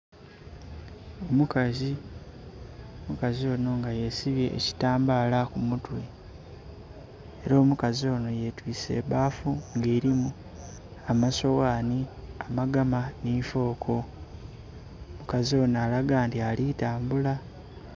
Omukazi, omukazi ono nga yesibye ekitambala kumutwe era omukazi ono yetwise ebbafu nga erimu amasoghani, amagama ni fooko, omukazi ono alaga nti ali tambula.